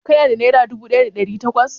Ka na da nera dubu ɗaya da ɗari takwas?